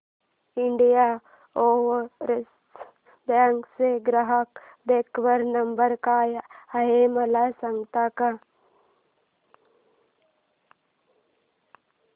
Indian Overseas Bank चा ग्राहक देखभाल नंबर काय आहे मला सांगता का